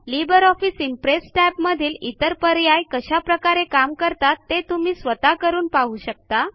Libre office impress टॅबमधील इतर पर्याय कशाप्रकारे काम करतात ते तुम्ही स्वतः करून पाहू शकता